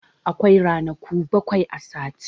Akwai ranaku bakwai a sati.